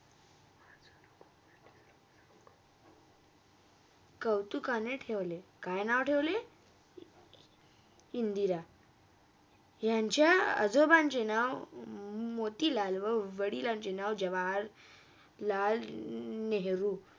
कौतुकाने ठेवले, काय नाव ठेवले? इंदिरा यांच्या आजोबाचे नाव हम्म मोतीलाल व वडिलांचे नाव जवाहर लाल नेहरू